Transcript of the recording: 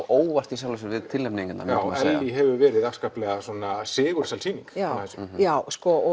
óvart við tilnefningarnar Ellý hefur verið afskaplega sigursæl sýning já